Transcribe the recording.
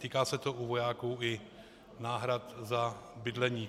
Týká se to u vojáků i náhrad za bydlení.